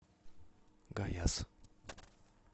гаяз